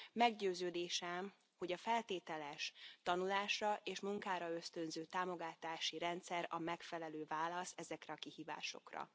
Meggyőződésem, hogy a feltételes, tanulásra és munkára ösztönző támogatási rendszer a megfelelő válasz ezekre a kihívásokra.